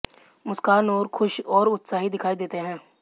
मुस्कान और खुश और उत्साही दिखाई देते हैं